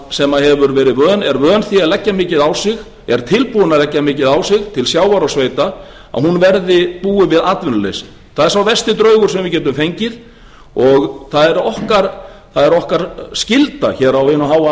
sem er vön því að leggja mikið á sig er tilbúin að leggja mikið á sig til sjávar og sveita að hún búi við atvinnuleysi það er sá versti draugur sem við getum fengið og það er okkar skylda hér á hinu háa